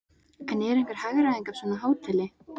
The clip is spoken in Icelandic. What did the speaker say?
En er einhver hagræðing af svona hóteli?